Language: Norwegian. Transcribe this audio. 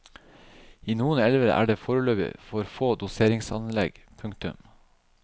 I noen elver er det foreløpig for få doseringsanlegg. punktum